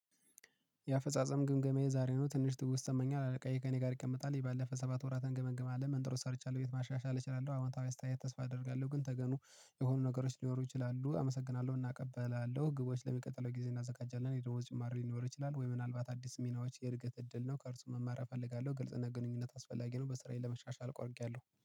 የአፈጻጸም ግምገማየ ዛሬ ነው። ትንሽ ጥሩ ይሰማኛል። አለቃዬ ከእኔ ጋር ይቀመጣል የባለፈ ሰባት ወራትን እንገመግማለን ምን ጥሩ ሰርቻለሁ የት ማሻሻል እችላለሁ አወንታዊ አስተያየት ተስፋ አደርጋለሁ። ግን ተገኑ የሆኑ ነገሮች ሊኖሩ ይችላሉ አመሰግናለሁ እና እቀበላለሁ ግቦች በሚቀጥለው ጊዜ እናዘጋጃለን የደሞዝ ጭማር ሊኖር ይችላል ወይ ምናልባት አዲስ ሚናዎች የእድገት እድል ነው ከእርሱ መማር እፈልጋለሁ ግልጽነት ግንኙነት አስፈላጊ ነው በስራዬ ለመሻሻል ቆርቄለሁ